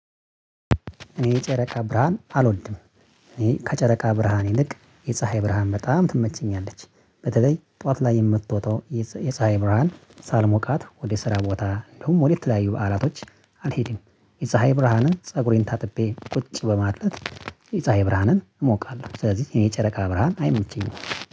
እኔ የጨረቃ ብርሃን አልወልድም። እኔ ከጨረቃ ብርሃን ይልቅ የፀሀይ ብርሃን በጣም ትመቸኛለች በተለይ ጠዋት ላይ የምትወጣው የፀሀይ ብርሃን ሳልሞቃት ወደ ስራ ቦታ እንደውም ወደ ተለያዩ በዓላቶች አልሄድም የፀሀይ ብርሃንን ፀጉሬን ታጥቤ ቁጭ በማለት የፀሀይ ብርሃንን እሞቃለሁ። ስለዚህ እኔ ጨረቃ ብርሃን አይሞችኝም